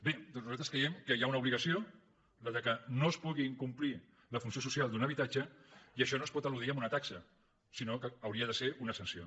bé doncs nosaltres creiem que hi ha una obligació la que no es pugui incomplir la funció social d’un habitatge i això no es pot eludir amb una taxa sinó que hauria de ser una sanció